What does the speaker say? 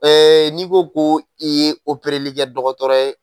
n'i ko ko i ye o perelikɛ dɔgɔtɔrɔ ye.